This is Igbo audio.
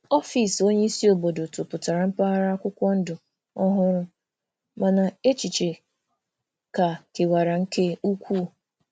Ọfịs onye isi obodo tụpụtara mpaghara akwụkwọ ndụ ọhụrụ, mana echiche ka kewara nke ukwuu.